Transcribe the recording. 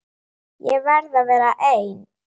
Ég verð að vera ein.